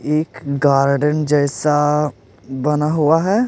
एक गार्डन जैसा बना हुआ है।